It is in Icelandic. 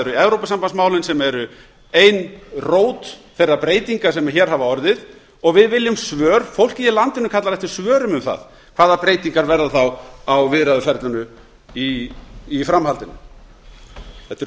eru evrópusambandsmálin sem eru ein rót þeirra breytinga sem hér hafa orðið og fólkið í landinu kallar eftir svörum um það hvaða breytingar verða þá á viðræðuferlinu í framhaldinu þetta eru